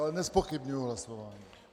Ale nezpochybňuji hlasování.